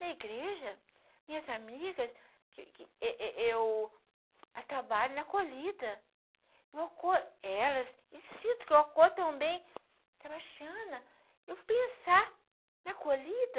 Na igreja, minhas amigas, que que eu eu eu trabalho na colhida, eu acordo com elas e sinto que eu acolho também, tá baixando, eu vou pensar na colhida,